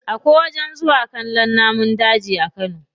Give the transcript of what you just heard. Akwai wajen zuwa kallon namun daji a kano.